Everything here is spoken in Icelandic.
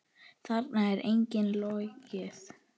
Þarna er engu logið.